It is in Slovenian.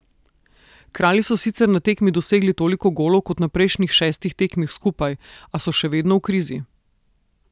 Kralji so sicer na tekmi dosegli toliko golov kot na prejšnjih šestih tekmah skupaj, a so še vedno v krizi.